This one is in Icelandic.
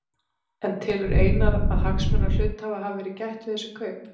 En telur Einar að hagsmuna hluthafa hafi verið gætt við þessi kaup?